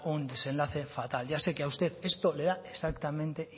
un desenlace fatal ya sé que a usted esto le da exactamente